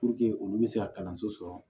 olu bɛ se ka kalanso sɔrɔ